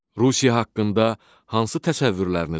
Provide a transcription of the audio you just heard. Rusiya haqqında hansı təsəvvürləriniz var?